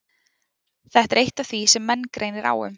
Þetta er eitt af því sem menn greinir á um.